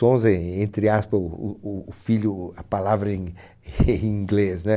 Sons, en en entre aspas, o o o filho, a palavra em em inglês, né?